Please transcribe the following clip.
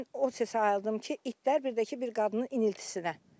Mən o səsi ayıldım ki, itlər bir də ki, bir qadının iniltisinə.